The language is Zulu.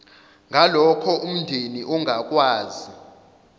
ngalokho umndeni ongakwazi